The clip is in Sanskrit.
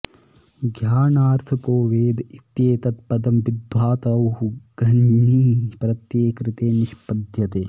ज्ञानार्थको वेद इत्येतत्पदं विद्धातोः घञि प्रत्यये कृते निष्पद्यते